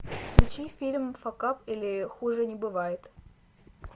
включи фильм факап или хуже не бывает